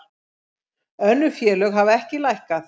Önnur félög hafa ekki lækkað